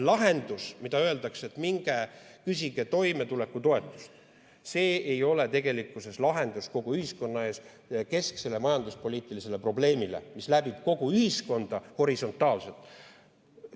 Kui öeldakse, et minge küsige toimetulekutoetust, siis see ei ole tegelikkuses lahendus kogu ühiskonna ees seisvale kesksele majanduspoliitilisele probleemile, mis läbib kogu ühiskonda horisontaalselt.